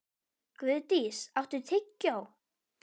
Guðdís, áttu tyggjó?